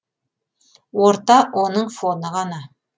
орта оның фоны ғана